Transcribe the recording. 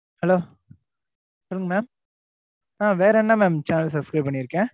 Hello சொல்லுங்க mam ஆஹ் வேற என்ன mam, channel subscribe பண்ணியிருக்கேன்.